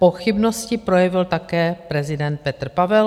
Pochybnosti projevil také prezident Petr Pavel.